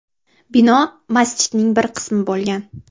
Bino masjidning bir qismi bo‘lgan.